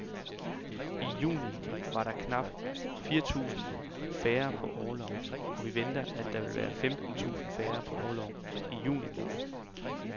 I juni var der knap fire tusind færre på orlov, og vi venter, at der vil være femten tusind færre på orlov i juli måned.